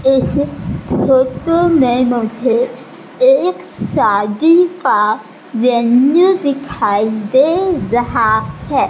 इस फोटो में मुझे एक शादी का वेन्यू दिखाई दे रहा है।